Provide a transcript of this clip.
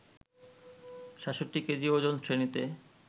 ৬৭ KG ওজন শ্রেণীতে